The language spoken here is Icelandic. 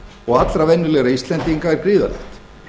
og allra venjulegra íslendinga er gríðarlegt